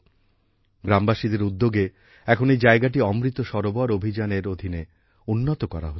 গ্রামবাসীদের উদ্যোগে এখন এই জায়গাটি অমৃত সরোবর অভিযানের অধীনে উন্নত করা হচ্ছে